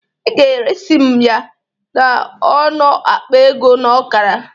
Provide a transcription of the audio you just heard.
Ị ga-eresi m ya n'ọnọ akpa ego na ọkara